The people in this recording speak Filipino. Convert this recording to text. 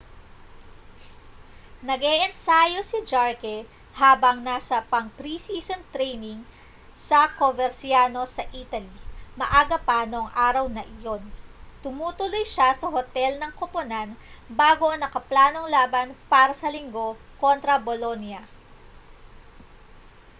nag-eensayo si jarque habang nasa pang-pre-season training sa coverciano sa italy maaga pa nang araw na iyon tumutuloy siya sa hotel ng koponan bago ang nakaplanong laban para sa linggo kontra bolonia